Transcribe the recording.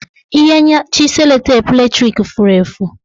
Ihe nyachi sellotape latrik furu efu